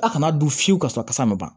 A kana don fiyewu ka sɔrɔ kasa ma ban